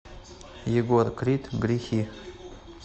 егор крид грехи